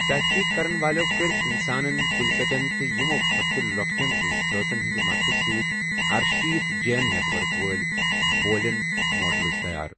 تحقیٖق کَرن والٮ۪و کٔرۍ اِنسانن، کُلۍ کَٹٮ۪ن تہٕ یِمو کھۄتہٕ تہِ لۄکٹٮ۪ن زُو ذٲژن ہِنٛدِ مدتہٕ سۭتۍ ارشیٖتھ جیٖن نیٹؤرک وٲلۍ بوٗلِین موڈَلز تَیار۔